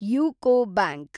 UCO bank